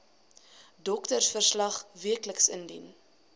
doktersverslag wcl indien